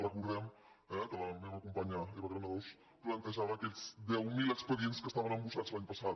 recordem eh que la meva companya eva granados plantejava aquests deu mil expedients que estaven embossats l’any passat